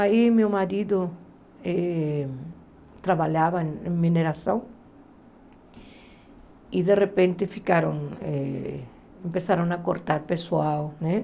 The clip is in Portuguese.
Aí meu marido eh trabalhava em mineração e de repente ficaram, eh começaram a cortar pessoal, né?